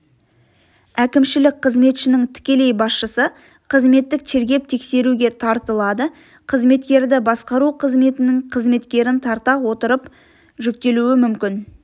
әкімшілік қызметшінің тікелей басшысы қызметтік тергеп-тексеруге тартылады қызметкерді басқару қызметінің қызметкерін тарта отырып жүктелуі мүмкін